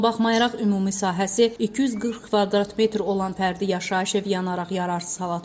Buna baxmayaraq ümumi sahəsi 240 kvadrat metr olan fərdi yaşayış evi yanaraq yararsız hala düşüb.